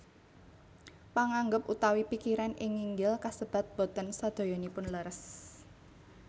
Panganggep utawi pikiran ing nginggil kasebat boten sadayanipun leres